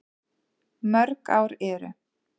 Mörg ár eru